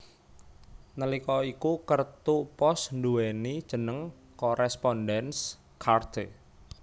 Nalika iku kertu pos nduwéni jeneng Correspondenz Karte